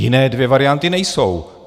Jiné dvě varianty nejsou.